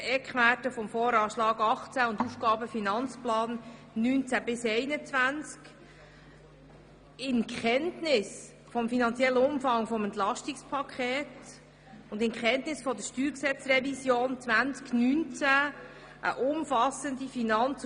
Dann werden wir die Eckwerte des Voranschlags 2018 und des Aufgaben- /Finanzplans 2019–2021 sowie den finanziellen Umfang des Entlastungspakets und der Steuergesetzrevision 2019 kennen.